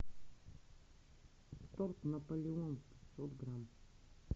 торт наполеон пятьсот грамм